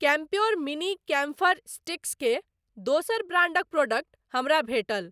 Campure mini camphor sticks के दोसर ब्रांडक प्रोडक्ट हमरा भेटल।